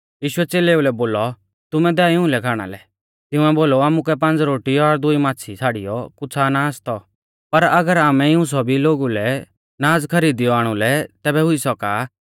यीशुऐ च़ेलेऊ लै बोलौ तुमै दैऔ इऊं लै खाणा लै तिंउऐ बोलौ आमुकै पांज़ रोटी और दुई माच़्छ़ी छ़ाड़ियौ कुछ़ा ना आसतौ पर अगर आमै इऊं सौभी लोगु लै नाज़ खरीदिऔ आणुलै तैबै हुई सौका भीड़ा रै लोगु मांझ़िऐ कम सै कम पांज़ हज़ार ता मर्द थै